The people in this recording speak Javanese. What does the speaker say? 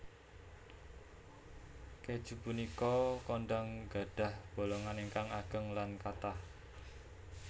Kèju punika kondhang gadhah bolongan ingkang ageng lan kathah